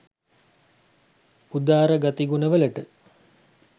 උදාර ගති ගුණ වලට